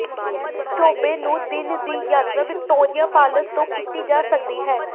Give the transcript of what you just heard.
ਚੋਬੇ ਨੂੰ ਦਿਨ ਦੀ ਯਾਤਰਾ ਵਿਕਟੋਰੀਆ ਫਾਲਸ ਤੋਂ ਕੀਤੀ ਜਾ ਸਕਦੀ ਹੈ